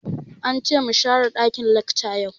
Ance mu share ɗakin lacca yau